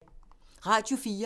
Radio 4